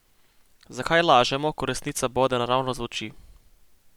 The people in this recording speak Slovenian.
Zakaj lažemo, ko resnica bode naravnost v oči?